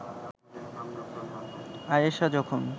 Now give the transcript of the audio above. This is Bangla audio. আয়েষা যখন